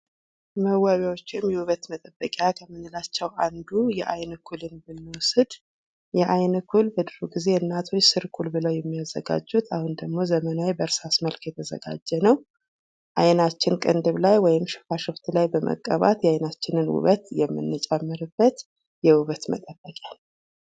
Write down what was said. መዋቢያዎች ወይም የውበት መጠበቂያ ከምንላቸው አንዱ የአይን ኩልን ብንወስድ የአይን ኩል በድሮ ጊዜ እናቶች ስርኩል ብለው የሚያዘጋጁት አሁን ደግሞ ዘመናዊ በእርሳስ መልክ የተዘጋጀ ነው ።አይናችን ቅንድብ ላይ ወይም ሽፋሽፍት ላይ በመቀባት የአይናችንን ውበት የምንጨምርበት የውበት መጠበቂያ ነው።